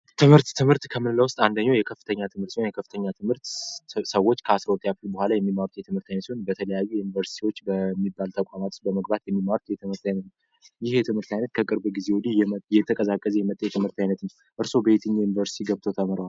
ትምህርት ትምህርት አንደኛው የከፍተኛ ትምህር የከፍተኛ ትምህርት ስብሰባ በተለያዩ ዩኒቨርስቲዎች በሚባለው አይነት እርሶ በየትኛው ዩኒቨርስቲ ገብተው ተምረዋል?